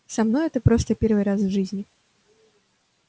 со мной это просто первый раз в жизни